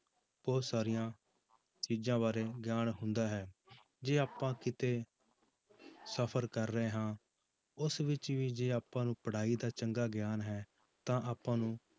ਬਹੁਤ ਸਾਰੀਆਂ ਚੀਜ਼ਾਂ ਬਾਰੇ ਗਿਆਨ ਹੁੰਦਾ ਹੈ ਜੇ ਆਪਾਂ ਕਿਤੇ ਸਫ਼ਰ ਕਰ ਰਹੇ ਹਾਂ ਉਸ ਵਿੱਚ ਵੀ ਜੇ ਆਪਾਂ ਨੂੰ ਪੜ੍ਹਾਈ ਦਾ ਚੰਗਾ ਗਿਆਨ ਹੈ ਤਾਂ ਆਪਾਂ ਨੂੰ